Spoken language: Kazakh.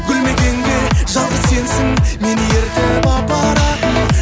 гүл мекенге жалғыз сенсің мені ертіп апаратын